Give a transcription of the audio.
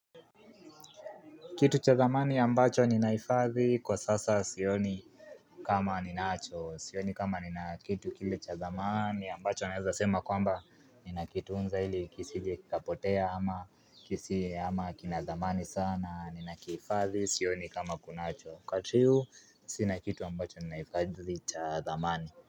Kitu cha dhamani ambacho ninahifadhi kwa sasa sioni kama ninacho Sioni kama nina kitu kile cha dhamani ambacho naweza sema kwamba Ninakitunza ili kisije kikapotea ama kisi ama kinadhamani sana Ninakihifadhi sioni kama kunacho wakati huu sina kitu ambacho ninahifadhi cha dhamani.